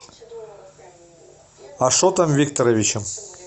ашотом викторовичем